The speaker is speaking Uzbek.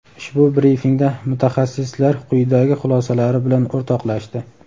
Ushbu brifingda mutaxassislar quyidagi xulosalari bilan o‘rtoqlashdi.